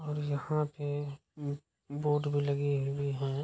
और यहाँ पे बोर्ड में लगी हुई हैं --